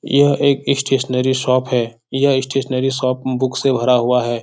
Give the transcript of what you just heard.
यह एक stationery shop है यह स्टेशनरी शॉप बुक से भरा हुआ है।